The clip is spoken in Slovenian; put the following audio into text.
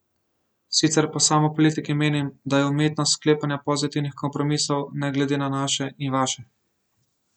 Sicer pa sam o politiki menim, da je umetnost sklepanja pozitivnih kompromisov ne glede na naše in vaše.